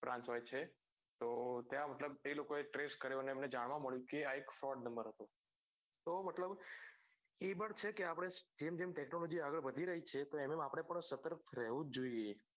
brance હોય છે તો ત્યાં મતલબ તે લોકો એ trace કર્યો અને એમને જાણવા મળ્યું કે આ fraud number હતો તો મતલબ એ પણ છે કે આપડે જેમ જેમ technology આગળ વધી રઈ છે તો એમ એમ આપડે પણ સતર્ક રેવું જ જોઈએ